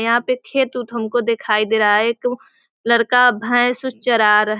यहां पे खेत उत हमको दिखाई दे रहा है एक लड़का भेस उस चारा रह --